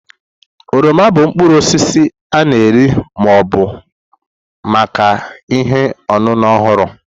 oroma bụ mkpụrụ osisi a na-eri ma ọ bụ maka ihe ọṅụṅụ ọhụrụ.